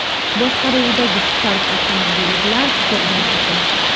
boshqaruvidagi Spark avtomobili bilan to‘qnashadi.